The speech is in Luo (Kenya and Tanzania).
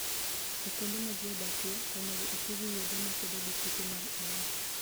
E kuonde ma ji odakie, onego oti gi yedhe makedo gi kute mag ayaki.